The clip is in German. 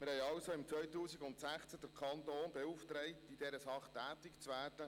2016 haben wir den Kanton also beauftragt, in dieser Sache tätig zu werden.